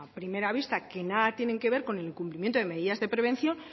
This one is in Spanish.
primera vista que nada tienen que ver con el cumplimiento de medidas de prevención